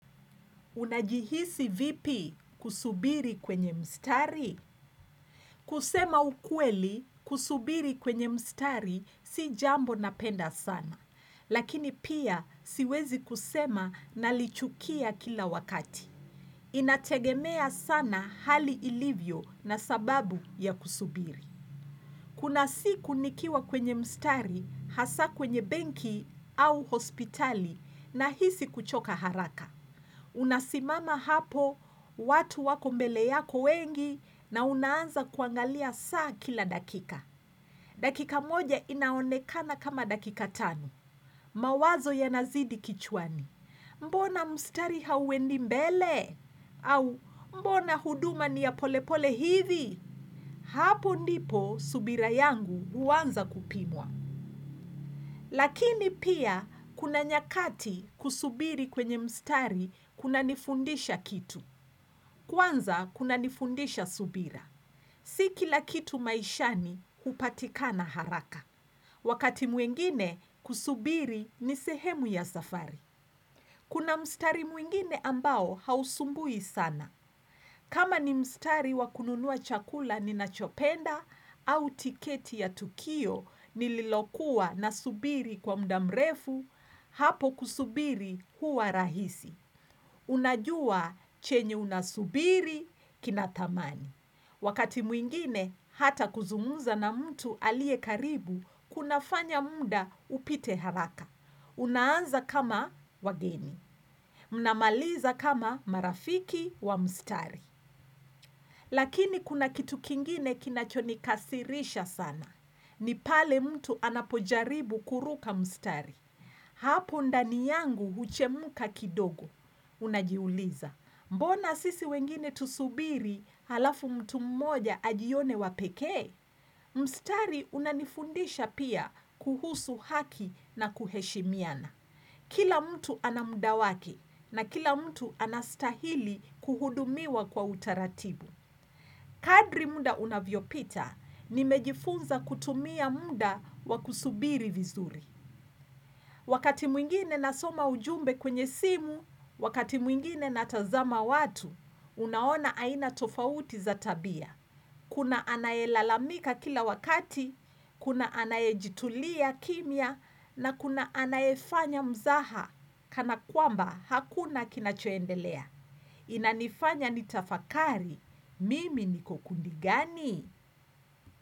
Unajihisi vipi kusubiri kwenye mstari? Kusema ukweli kusubiri kwenye mstari si jambo napenda sana, lakini pia siwezi kusema nalichukia kila wakati. Inategemea sana hali ilivyo na sababu ya kusubiri. Kuna siku nikiwa kwenye mstari hasa kwenye benki au hospitali nahisi kuchoka haraka. Unasimama hapo watu wako mbele yako wengi na unaanza kuangalia saa kila dakika. Dakika moja inaonekana kama dakika tano. Mawazo yanazidi kichwani. Mbona mstari hauendi mbele? Au mbona huduma ni ya polepole hivi? Hapo ndipo subira yangu huanza kupimwa. Lakini pia kuna nyakati kusubiri kwenye mstari kunanifundisha kitu. Kwanza kunanifundisha subira. Si kila kitu maishani hupatikana haraka. Wakati mwingine kusubiri ni sehemu ya safari. Kuna mstari mwingine ambao hausumbui sana. Kama ni mstari wa kununua chakula ninachopenda au tiketi ya tukio nililokuwa nasubiri kwa muda mrefu hapo kusubiri huwa rahisi. Unajua chenye unasubiri kinathamani. Wakati mwingine hata kuzungumza na mtu aliye karibu kunafanya muda upite haraka. Unaanza kama wageni. Mnamaliza kama marafiki wa mstari. Lakini kuna kitu kingine kinachonikasirisha sana. Ni pale mtu anapojaribu kuruka mstari. Hapo ndani yangu huchemka kidogo. Unajiuliza. Mbona sisi wengine tusubiri halafu mtu mmoja ajione wa pekee? Mstari unanifundisha pia kuhusu haki na kuheshimiana. Kila mtu ana muda wake na kila mtu anastahili kuhudumiwa kwa utaratibu. Kadri muda unavyopita nimejifunza kutumia muda wa kusubiri vizuri. Wakati mwingine nasoma ujumbe kwenye simu, wakati mwingine natazama watu, unaona aina tofauti za tabia. Kuna anayelalamika kila wakati, kuna anayejitulia kimya na kuna anayefanya mzaha kana kwamba hakuna kinachoendelea. Inanifanya nitafakari, mimi niko kundi gani.